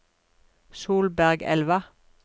Solbergelva